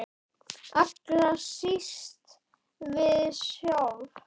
Allra síst við sjálf.